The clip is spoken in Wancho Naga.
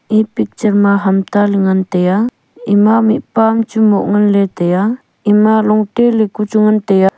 e picture ma ham ta ley ngan tai a ema mihpa am chu moh ngan ley tai a ema long te ley ka chu ngan tai a.